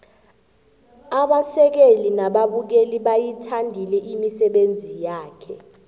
abasekeli nababukeli bayithandile imisebenzi yakhe